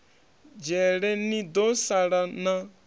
dzhele ni do sala na